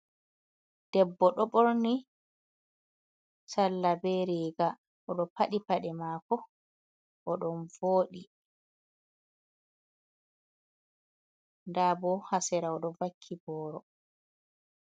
Debbo ɗo borni salla ɓe riga, odo paɗi paɗe mako odon vodi, nda bo ha sera oɗo vakki boro.